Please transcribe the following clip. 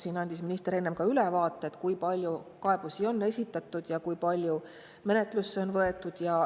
Minister andis siin ka enne ülevaate selle kohta, kui palju kaebusi on esitatud ja kui palju neid on menetlusse võetud.